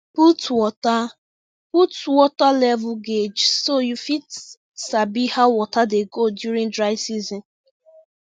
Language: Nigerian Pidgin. put water put water level gauge so you fit sabi how water dey go during dry season